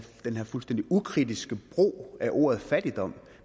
fuldstændig ukritiske brug af ordet fattigdom